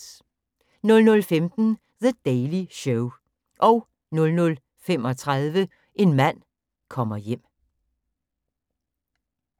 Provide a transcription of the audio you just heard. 00:15: The Daily Show 00:35: En mand kommer hjem